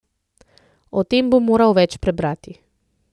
O tem bom moral več prebrati.